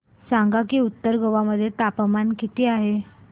सांगा की उत्तर गोवा मध्ये तापमान किती आहे